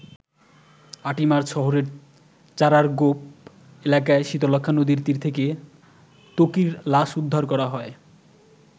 ৮ March শহরের চারারগোপ এলাকায় শীতলক্ষ্যা নদীর তীর থেকে ত্বকির লাশ উদ্ধার করা হয়।